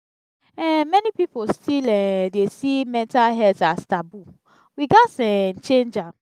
um many pipo still um dey see mental health as taboo; we gats um change am.